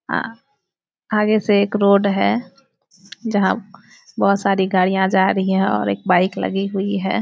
आ आगे से एक रोड है जहाँ बहुत सारी गाड़ियां जा रही है और एक बाईक लगी हुई है।